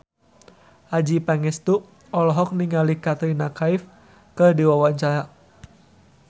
Adjie Pangestu olohok ningali Katrina Kaif keur diwawancara